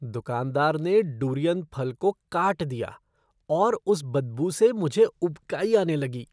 दुकानदार ने डुरियन फल को काट दिया और उस बदबू से मुझे उबकाई आने लगी।